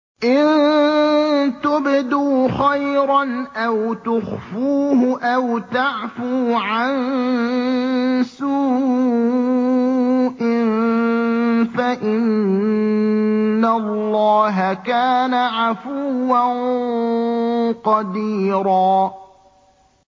إِن تُبْدُوا خَيْرًا أَوْ تُخْفُوهُ أَوْ تَعْفُوا عَن سُوءٍ فَإِنَّ اللَّهَ كَانَ عَفُوًّا قَدِيرًا